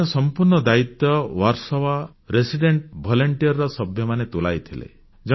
ଏହାର ସମ୍ପୂର୍ଣ୍ଣ ଦାୟିତ୍ୱ ବର୍ସୋବା ରେସିଡେନ୍ସ ଭଲ୍ୟୁଣ୍ଟିଅର VRVର ସଭ୍ୟମାନେ ତୁଲାଇଥିଲେ